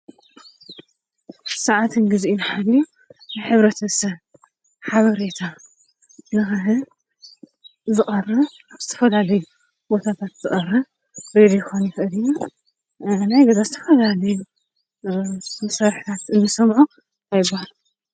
ሰዓቱን ግዚኡን ሓልዩ ንሕብረተሰብ ሓበሬታ ንኽህብ ዝቐርብ ኣብ ዝተፈላለዩ ቦታታት ዝቐርብ ሬድዮ ክኸውን ይኽእል እዩ:: ናይ ዝኾነ ዝተፈላለዩ መሳርሕታት እንሰምዖ ታይ ይበሃል?